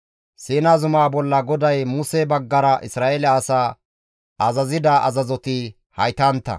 Siina zumaa bolla GODAY Muse baggara Isra7eele asaa azazida azazoti haytantta.